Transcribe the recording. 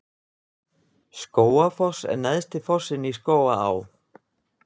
Skógafoss er neðsti fossinn í Skógaá.